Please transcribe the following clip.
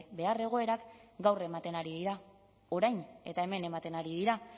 behar egoerak gaur ematen ari dira orain eta hemen ematen ari dira